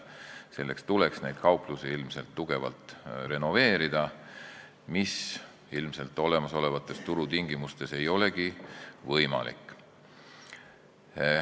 Selleks tuleks neid kauplusi ilmselt tugevalt renoveerida, mis olemasolevates turutingimustes ei ole võimalik.